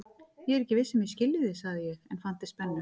Ég er ekki viss um að ég skilji þig, sagði ég en fann til spennu.